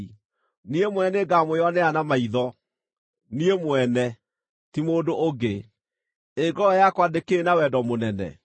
niĩ mwene nĩngamwĩonera na maitho, niĩ mwene, ti mũndũ ũngĩ. Ĩ ngoro yakwa ndĩkĩrĩ na wendo mũnene!